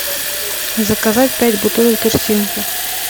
заказать пять бутылок тырсинки